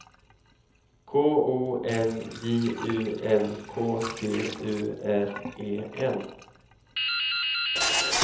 K O N J U N K T U R E N